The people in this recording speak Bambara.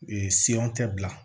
bila